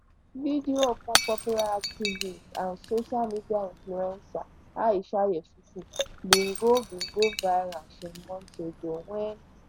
video of one popular activist and social media influencer aisha yesufu bin go bin go viral some months ago wen